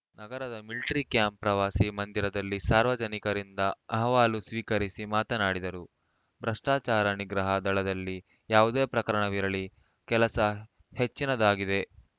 ನಗರದ military camp ಪ್ರವಾಸಿ ಮಂದಿರದಲ್ಲಿ ಸಾರ್ವಜನಿಕರಿಂದ ಅಹವಾಲು ಸ್ವೀಕರಿಸಿ ಮಾತನಾಡಿದರು ಭ್ರಷ್ಟಾಚಾರ ನಿಗ್ರಹ ದಳದಲ್ಲಿ ಯಾವುದೇ ಪ್ರಕರಣವಿರಲಿ ಕೆಲಸ ಹೆಚ್ಚಿನದ್ದಾಗಿದೆ